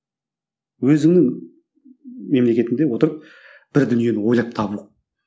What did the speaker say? өзіңнің мемлекетіңде отырып бір дүниені ойлап табу